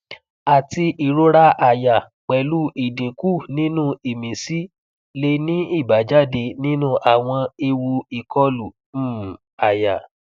ati irora aya pelu idinku ninu imisi le ni ibajade ninu awon ewu ikolu um aya